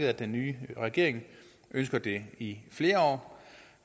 at den nye regering ønsker at det skal i flere år